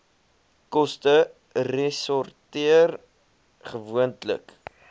koste resorteer gewoonlik